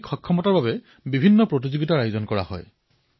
ইয়াত ফিটনেছৰ পৰা আৰম্ভ কৰি বিভিন্ন ধৰণৰ আয়োজন কৰা হয়